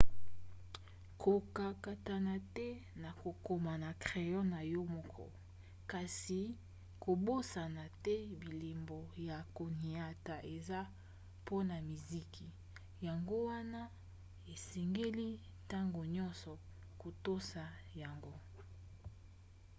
kokakatana te na kokoma na crayon na yo moko kasi kobosana te bilembo ya koniata eza mpona miziki yango wana esengeli ntango nyonso kotosa yango